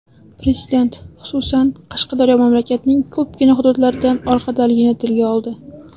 Prezident, xususan, Qashqadaryo mamlakatning ko‘pgina hududlaridan orqadaligini tilga oldi.